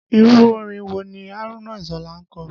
Irú orin wo ni Haruna Isola ń kọ?